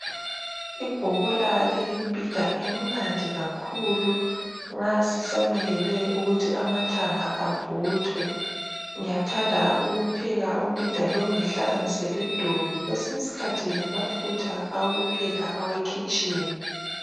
Ibhobola liyimbhida emnandi kakhulu nxa sisamelele ukuthi amathanga avuthwe, ngiyathanda ukupheka umbhida lowu, ngihlanganise ledobi. Kwesinye iskhathi lamafutha awokupheka awekhitshini.